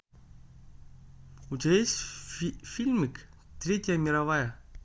у тебя есть фильмик третья мировая